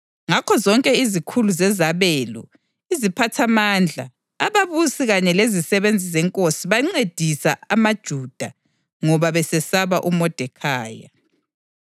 Ngakho zonke izikhulu zezabelo, iziphathamandla, ababusi kanye lezisebenzi zenkosi bancedisa amaJuda, ngoba besesaba uModekhayi.